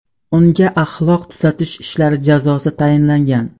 Unga axloq tuzatish ishlari jazosi tayinlangan.